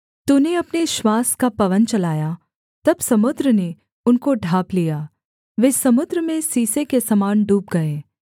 तूने अपने श्वास का पवन चलाया तब समुद्र ने उनको ढाँप लिया वे समुद्र में सीसे के समान डूब गए